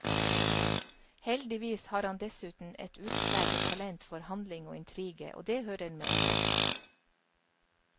Heldigvis har han dessuten et utpreget talent for handling og intrige, og det hører med.